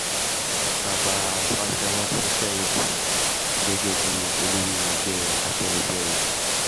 baba fáṣọ́rántì fẹ̀yìn tì gẹ́gẹ́ bíi olórí ẹgbẹ́ afẹ́nifẹ́re